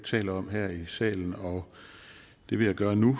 taler om her i salen og det vil jeg gøre nu